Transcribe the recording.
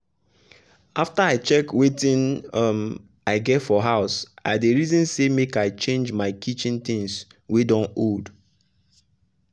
after i check wetin um i get for house i dey reason say make i change my kitchen things wey don old.